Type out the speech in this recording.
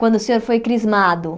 Quando o senhor foi crismado